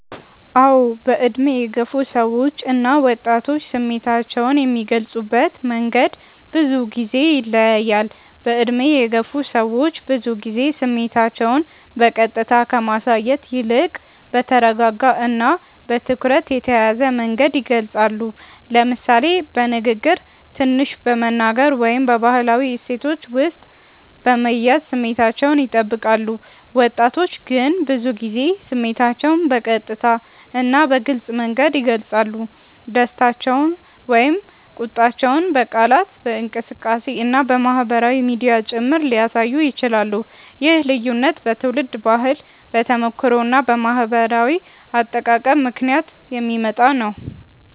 አዎ፣ በዕድሜ የገፉ ሰዎች እና ወጣቶች ስሜታቸውን የሚገልጹበት መንገድ ብዙ ጊዜ ይለያያል። በዕድሜ የገፉ ሰዎች ብዙ ጊዜ ስሜታቸውን በቀጥታ ከማሳየት ይልቅ በተረጋጋ እና በትኩረት የተያዘ መንገድ ይገልጻሉ፤ ለምሳሌ በንግግር ትንሽ በመናገር ወይም በባህላዊ እሴቶች ውስጥ በመያዝ ስሜታቸውን ይጠብቃሉ። ወጣቶች ግን ብዙ ጊዜ ስሜታቸውን በቀጥታ እና በግልጽ መንገድ ይገልጻሉ፤ ደስታቸውን ወይም ቁጣቸውን በቃላት፣ በእንቅስቃሴ እና በማህበራዊ ሚዲያ ጭምር ሊያሳዩ ይችላሉ። ይህ ልዩነት በትውልድ ባህል፣ በተሞክሮ እና በማህበራዊ አጠቃቀም ምክንያት የሚመጣ ነው።